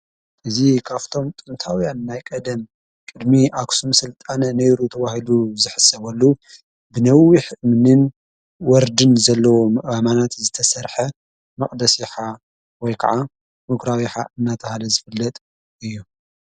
እዝ ኻፍቶም ጥንታውያ እናይ ቀደም ቕድሚ ኣስም ሥልጣነ ነይሩ ተዋሂሉ ዘሕሰበሉ ብነዊኅ ምንን ወርድን ዘለዎ ኣማናት ዝተሠርሐ መቕደስኻ ወይ ከዓ ምግራውኀ እናታሃለ ዝፍለጥ እዩ።